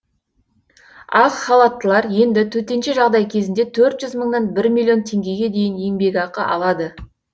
ақ халаттылар енді төтенше жағдай кезінде төрт жүз мыңнан бір миллион теңгеге дейін еңбекақы алады